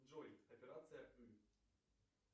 джой операция ы